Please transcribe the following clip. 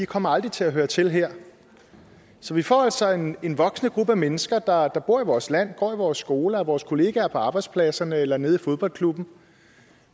kommer til at høre til her så vi får altså en en voksende gruppe af mennesker der bor i vores land går i vores skoler er vores kolleger på arbejdspladsen eller spiller nede i fodboldklubben